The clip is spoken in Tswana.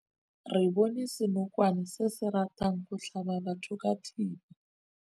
Re bone senokwane se se ratang go tlhaba batho ka thipa.